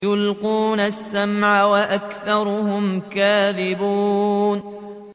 يُلْقُونَ السَّمْعَ وَأَكْثَرُهُمْ كَاذِبُونَ